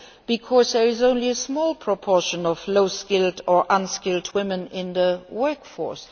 Because there is only a small proportion of low skilled or unskilled women in the workforce.